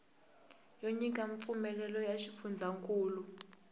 yo nyika mpfumelelo ya xifundzankulu